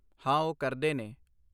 ਹਾਂ ਓਹ ਕਰਦੇ ਨੇ।